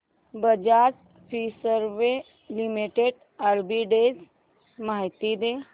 Bajaj Finserv limited arbitrage माहिती दे